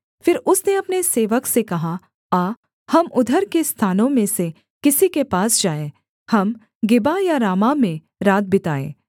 फिर उसने अपने सेवक से कहा आ हम उधर के स्थानों में से किसी के पास जाएँ हम गिबा या रामाह में रात बिताएँ